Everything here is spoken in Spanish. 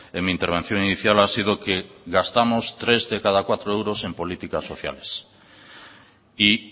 en mi intervención inicial ha sido que gastamos tres de cada cuatro euros en políticas sociales y